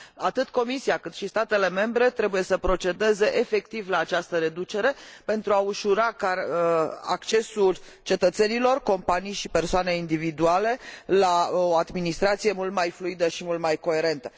Atât Comisia, cât și statele membre, trebuie să procedeze efectiv la această reducere, pentru a ușura accesul cetățenilor companii și persoane individuale la o administrație mult mai fluidă și mult mai coerentă.